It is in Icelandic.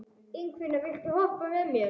Ingifinna, viltu hoppa með mér?